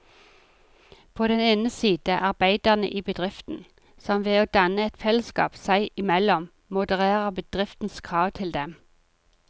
På den ene side arbeiderne i bedriften, som ved å danne et fellesskap seg imellom modererer bedriftens krav til dem.